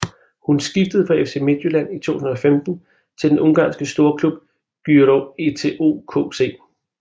Hun skiftede fra FC Midtjylland i 2015 til den ungarske storklub Győri ETO KC